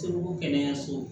Segu kɛnɛyaso